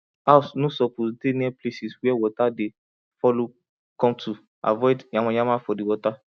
house no suppose dey near places where water dey follow cometo avoid yama yama for the water